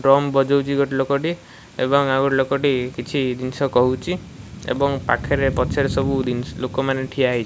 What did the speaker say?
Drum ବଜଉଚି ଗୋଟେ ଲୋକଟି ଏବଂ ଆଉ ଗୋଟେ ଲୋକଟି କିଛି ଜିନିଷ କହୁଚି ଏବଂ ପାଖରେ ପଛରେ ସବୁ ଦିନି ଲୋକମାନେ ଠିଆ ହେଇଛନ୍ତି।